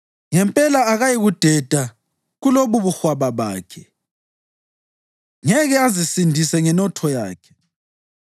Ngempela akayikudeda kulobubuhwaba bakhe; ngeke azisindise ngenotho yakhe.